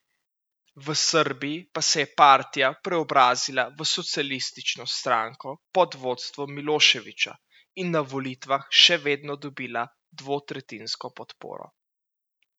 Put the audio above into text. V Srbiji pa se je partija preobrazila v socialistično stranko pod vodstvom Miloševića in na volitvah še vedno dobila dvotretjinsko podporo.